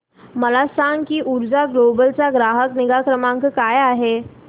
मला सांग की ऊर्जा ग्लोबल चा ग्राहक निगा क्रमांक काय आहे